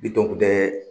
Bitɔn kun tɛ